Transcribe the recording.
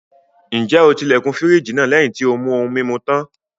Ǹjẹ́ o ti ilẹ̀kùn fírìjì náà lẹ́yìn tí ó mú ohun-mimu tán?